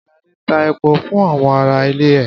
Ṣadé ta epo fún àwọn ará ilé ẹ.